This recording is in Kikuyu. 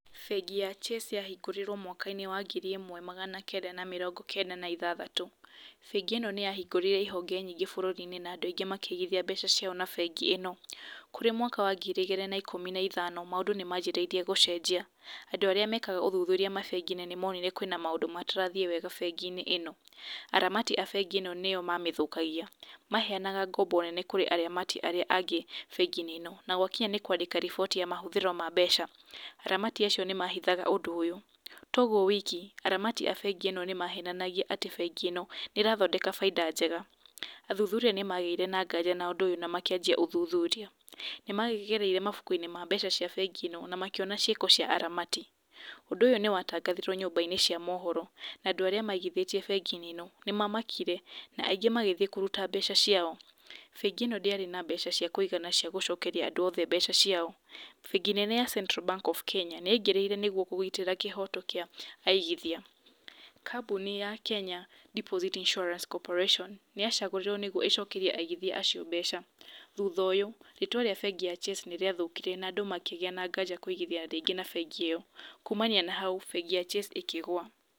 Bengi ya Chase yahingũrirwo mwakainĩ wa ngiri ĩmwe magana kenda na mĩrongo kenda na ithathatũ bengi ĩno nĩ yahingũrire ihonge nyingĩ bũrũriinĩ na andũ aingĩ makĩigithia mbeca ciao na bengi ĩno. Kũrĩ mwaka wa ngiri igĩrĩ na ithano maũndũ nĩ manjirie gũcenjia. Andũ arĩa mekaga ũthuthuria mabengi-inĩ nĩ monire kwĩna maũndũ matarathiĩ wega bengiinĩ ĩno. Aramati a bengi ĩno nĩo mamĩthũkagia, maheanaga ngombe nene gũkĩra aramati arĩa angĩ bengi-inĩ ĩno, na gwakinya nĩ kwandĩka riboti ya mahũthĩro ma mbeca aramati acio nĩ mahithaga ũndũ ũyũ. Tũgwo wiki, aramati a bengi ĩno nĩ mahenanagia atĩ bengi ĩno ĩrathondeka baita njega. Athuthuria nĩ magĩire na nganja na ũndũ ũyũ na makĩanjia ũthuthuria nĩ makĩgereire mabuku ma bengi ĩno na makĩona ciako cia aramati. Ũndũ ũyũ nĩ watangathirwo nyumba-inĩ cia mũhoro na andũ arĩa maigithĩtie bengiinĩ ĩno nĩ mamakire na aingĩ magĩthiĩ kũruta mbeca ciao. Bengi ĩno ndĩarĩ na mbeca cia kũigana cia gũcokeria andũ othe mbeca ciao. Bengi nene ya central Bank of Kenya nĩ yaigĩrĩire nĩguo kũgitĩra kĩhoto kĩa aigithia. Kambuni ya Kenya Deposit Insuarance Cooperation nĩ yacagũrirwo nĩguo ĩcokerie aigithia acio mbeca, thutha ũyũ rĩtwa rĩa bengi ya Chase nĩ rĩathũkire na andũ makĩgia na kanja kũigithia na bengi ĩyo. Kumania na hau bengi ya Chase ĩkĩgwa.